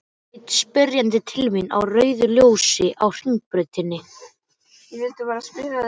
Hann leit spyrjandi til mín á rauðu ljósi á Hringbrautinni.